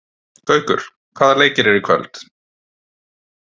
Gaukur, hvaða leikir eru í kvöld?